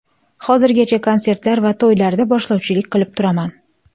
Hozirgacha konsertlar va to‘ylarda boshlovchilik qilib turaman.